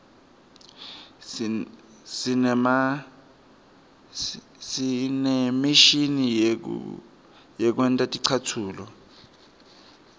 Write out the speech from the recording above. sinemishini yekwenta ticatfulo